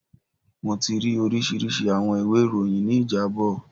Mo ti ri orisirisi awọn iwe iroyin ni ijabọ